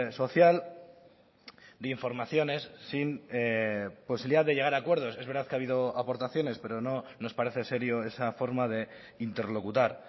social de informaciones sin posibilidad de llegar a acuerdos es verdad que ha habido aportaciones pero no nos parece serio esa forma de interlocutar